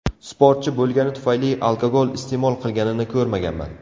Sportchi bo‘lgani tufayli alkogol iste’mol qilganini ko‘rmaganman.